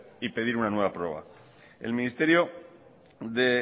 y pedir una nueva prórroga el ministerio de